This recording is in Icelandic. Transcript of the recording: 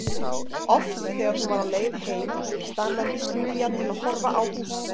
Oft þegar hún var á leið heim staðnæmdist Júlía til að horfa á húsið.